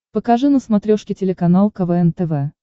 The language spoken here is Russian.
покажи на смотрешке телеканал квн тв